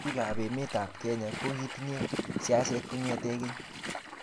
bikaap emetab Kenya kogigitinye siaset kongete keny